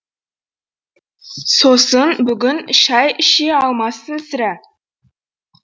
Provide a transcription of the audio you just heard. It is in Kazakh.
сосын бүгін шай іше алмассың сірә